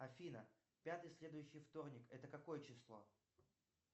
афина пятый следующий вторник это какое число